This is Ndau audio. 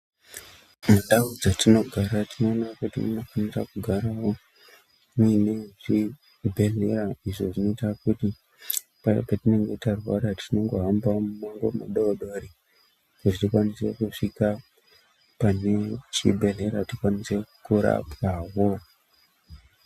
Mundau dzatinogara tinoone kuti munofanira kugara muine zvibhedhlera Izvi zvinoita kuti payane tinenge tarwara tinongohamba mimango wekuti tikwanise kusvika pachibhedhleya torapwawo.